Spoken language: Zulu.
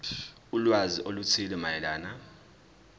ulwazi oluthile mayelana